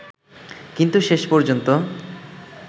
কিন্তু শেষ পর্যন্ত